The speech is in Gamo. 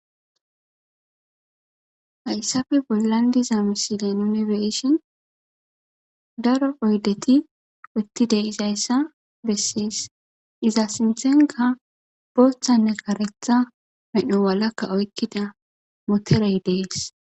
hayssafe bollan diza misilen unibeshon daro oydeti wottide izayssa bessiis iza sinthenka booththanne karetha medho walakka oykkida moterey dees